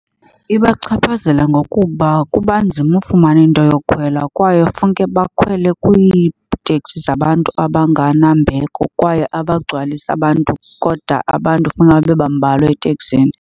Ibachaphazela ngokuba kuba nzima ufumana into yokhwela kwaye funeke bakhwele kwiiteksi zabantu abanganambeko kwaye abagcwalisa abantu kodwa abantu funeke babe bambalwa eteksini.